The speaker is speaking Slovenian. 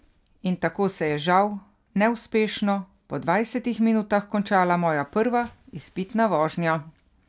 In tako se je, žal neuspešno, po dvajsetih minutah, končala moja prva izpitna vožnja.